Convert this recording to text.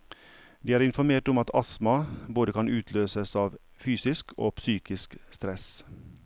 De er informert om at astma både kan utløses av fysisk og psykisk stress.